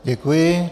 Děkuji.